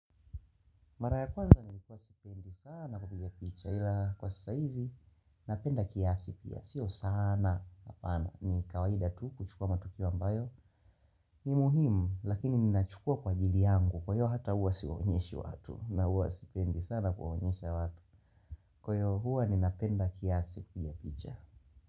Maraya kwanza nilikuwa sipendi sana kubiga kicha ila kwa sasa hivi napenda kiasi pia. Sio sana hapana. Ni kawaida tu kuchukua matukio ambayo. Ni muhimu lakini ninachukua kwa ajili yangu kwa hiyo hata huwa siwaonyeshi watu. Na huwa sipendi sana kuwaonyesha watu. Kwa hiyo huwa ninapenda kiasi piga kicha.